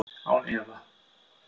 Án efa